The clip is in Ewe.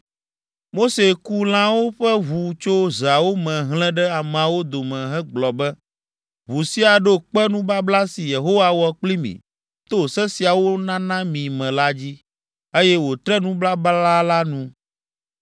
Mose ku lãwo ƒe ʋu tso zeawo me hlẽ ɖe ameawo dome hegblɔ be, “Ʋu sia ɖo kpe nubabla si Yehowa wɔ kpli mí to Se siawo nana mí me la dzi, eye wòtre nubabla la nu.”